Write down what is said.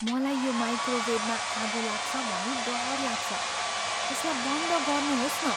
मलाई यो माइक्रोवेवमा आगो लाग्छ भनी डर लाग्छ। यसलाई बन्द गर्नुहोस् न।